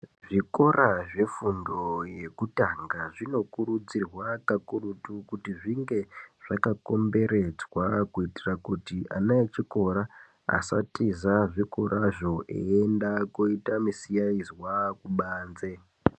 Zvikora zvefundo yekutanga zvinokurudzirwa kakurutu kuti zvinge zvakakomberedzwa kuitira kuti ana echikora asatiza zvikorazvo eienda koita misikazwa kubanze .